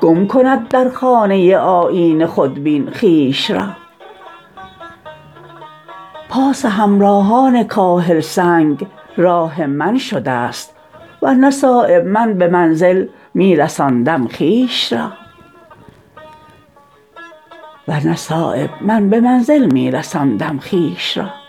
گم کند در خانه آیینه خودبین خویش را پاس همراهان کاهل سنگ راه من شده است ور نه صایب من به منزل می رساندم خویش را